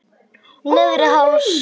Neðri Hálsi